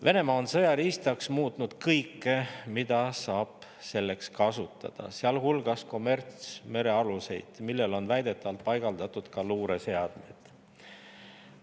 Venemaa on sõjariistaks muutnud kõike, mida saab selleks kasutada, sealhulgas kommertsmerealuseid, millele on väidetavalt paigaldatud ka luureseadmeid.